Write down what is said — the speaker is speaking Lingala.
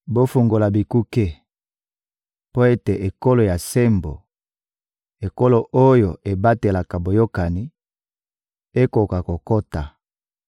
Bofungola bikuke mpo ete ekolo ya sembo, ekolo oyo ebatelaka boyokani, ekoka kokota!